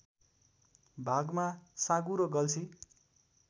भागमा साँगुरो गल्छी